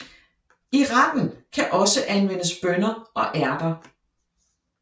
I retten kan også anvendes bønner og ærter